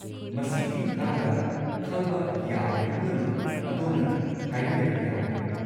ꯃꯁꯤꯒꯤ ꯃꯇꯥꯡꯗ ꯈꯪꯕ ꯌꯥꯕ ꯄꯨꯝꯅꯃꯛ ꯑꯗꯣꯝꯅ ꯍꯥꯏꯕꯤꯔꯛꯄ ꯌꯥꯒꯅꯤ꯫